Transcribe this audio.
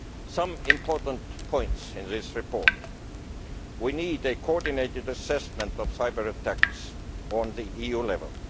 Some important points were made in this report. We need a coordinated assessment of cyber attacks on the EU level.